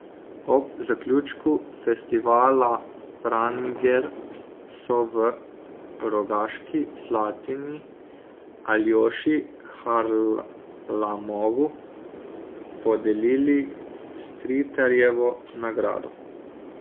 Ob zaključku festivala Pranger so v Rogaški Slatini Aljoši Harlamovu podelili Stritarjevo nagrado.